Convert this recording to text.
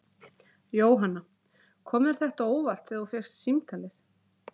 Jóhanna: Kom þér þetta á óvart þegar þú fékkst símtalið?